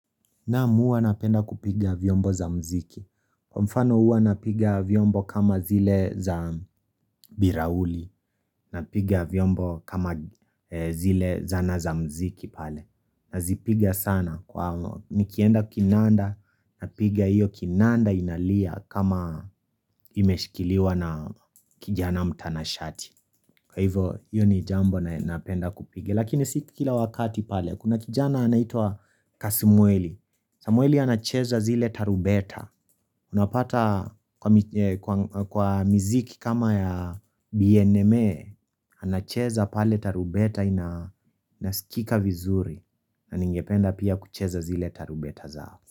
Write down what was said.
Namu hua napenda kupiga vyombo za mziki. Kwa mfano hua napiga vyombo kama zile za birauli. Napiga vyombo kama zile zana za mziki pale. Nazipiga sana. Nikienda kinanda, napiga hiyo kinanda inalia kama imeshikiliwa na kijana mtanashati. Kwa hivo, hiyo ni jambo na napenda kupige. Lakini siki kila wakati pale, kuna kijana anaitwa Kasimueli. Samueli anacheza zile tarubeta Unapata kwa miziki kama ya BNME anacheza pale tarubeta inasikika vizuri na ningependa pia kucheza zile tarubeta zaafu.